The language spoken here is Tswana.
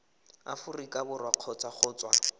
aforika borwa kgotsa go tswa